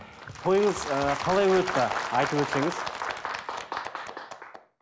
тойыңыз ыыы қалай өтті айтып өтсеңіз